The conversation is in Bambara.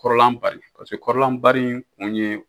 Kɔrɔlanbari paseke kɔrɔlanbari kun ye